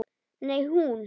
Nei, hún.